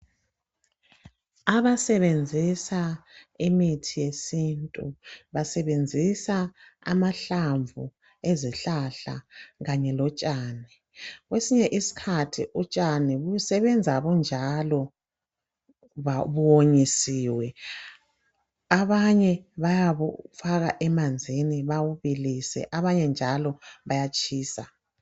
Abasebenzisa imithi yesintu basebenzisa amahlamvu ezihlahla kanye lotshani. Kwesinye isikhathi utshani busebenza bunjalo buwonyisiwe. Abanye bayabufaka emanzini babubilise abanye njalo bayatshisa